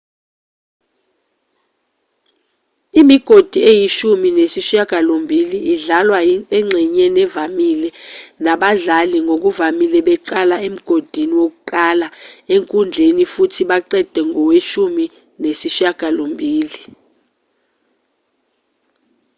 imigodi eyishumi nesishiyagalombili idlalwa engxenyeni evamile nabadlali ngokuvamile beqala emgodini wokuqala enkundleni futhi baqede koweshumi nesishiyagalombili